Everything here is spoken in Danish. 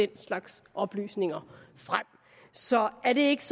den slags oplysninger så er det ikke